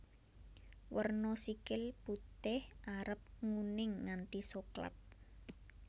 Werna sikil putih arep nguning nganti soklat